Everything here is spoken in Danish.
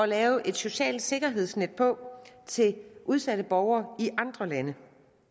lave et socialt sikkerhedsnet på til udsatte borgere i andre lande